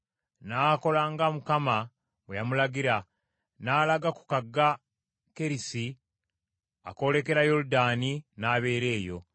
N’akola nga Mukama bwe yamulagira, n’alaga ku kagga Kerisi, akoolekera Yoludaani, n’abeera eyo.